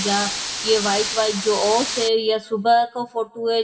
जा ये white white जो ओस है ये सुबह का फोटू है --